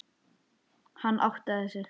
Hann áttaði sig.